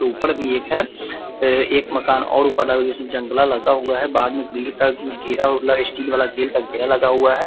ऊपर भी एक है। एक मकान और ऊपर जंगला लगा हुआ है। बाहर में ग्रील का जीरा वाला स्टील वाला गेट का घेरा लगा हुआ है।